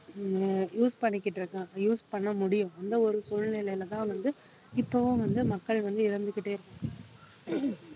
உம் use பண்ணிக்கிட்டு இருக்கான் use பண்ண முடியும் அந்த ஒரு சூழ்நிலையிலதான் வந்து இப்பவும் வந்து மக்கள் வந்து